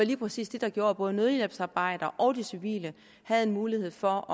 lige præcis det der gjorde at både nødhjælpsarbejdere og de civile havde en mulighed for